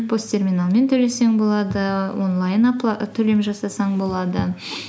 пос терминалмен төлесең болады онлайн төлем жасасаң болады